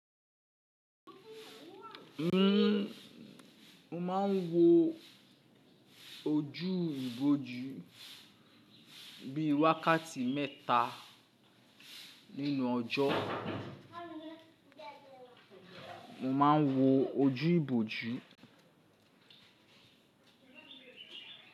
N o máa n wo ojú iboju bíi wákàtí mẹ́ta nínú ọjọ́. Mo ma n wo ojú iboju.